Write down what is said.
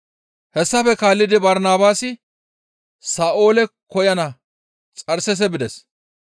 Hessafe kaallidi Barnabaasi Sa7oole koyana Xarseese bides.